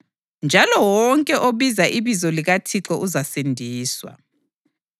Njalo wonke obiza ibizo likaThixo uzasindiswa.’ + 2.21 UJoweli 2.28-32